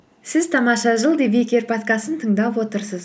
сіз тамаша жыл подкастын тыңдап отырсыз